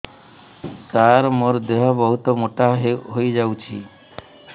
ସାର ମୋର ଦେହ ବହୁତ ମୋଟା ହୋଇଯାଉଛି